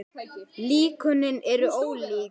Líkönin eru ólík.